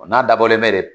O n'a dabɔlen bɛ de